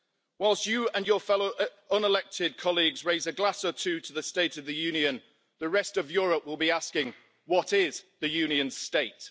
Whilst you and your fellow unelected colleagues raise a glass or two to the State of the Union, the rest of Europe will be asking, what is the Union's state?